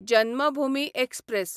Janmabhoomi express